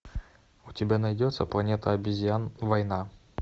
у тебя найдется планета обезьян война